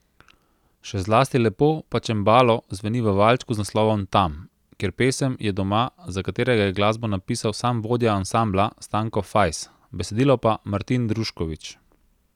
Še zlasti lepo pa čembalo zveni v valčku z naslovom Tam, kjer pesem je doma, za katerega je glasbo napisal sam vodja ansambla Stanko Fajs, besedilo pa Martin Druškovič.